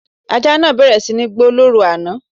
Ajá náà bẹ̀rẹ̀ sí ní gbó lóru àná